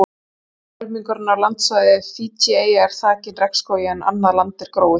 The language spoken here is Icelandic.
Tæplega helmingurinn af landsvæði Fídjieyja er þakinn regnskógi en annað land er gróið.